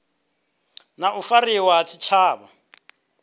na u fariwa ha tshitshavha